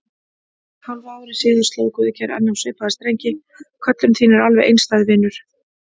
Hálfu ári síðar sló Guðgeir enn á svipaða strengi: Köllun þín er alveg einstæð, vinur.